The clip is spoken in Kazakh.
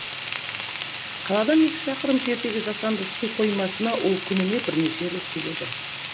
қаладан екі шақырым жердегі жасанды су қоймасына ол күніне бірнеше рет келеді